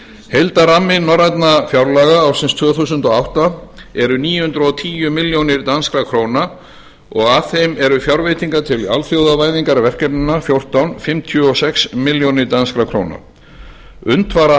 dag heildarrammi norrænna fjárlaga ársins tvö þúsund og átta er níu hundruð og tíu milljónir danskra króna og af þeim eru fjárveitingar til alþjóðavæðingarverkefnanna fjórtán fimmtíu og sex milljónir danskra króna unnt var að